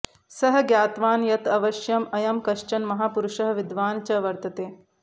सः ज्ञातवान् यत् अवश्यम् अयं कश्चन महापुरुषः विद्वान् च वर्तते